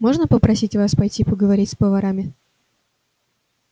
можно попросить вас пойти поговорить с поварами